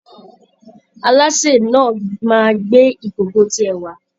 Alásè náà máa gbé ìkòkò tiẹ̀ wá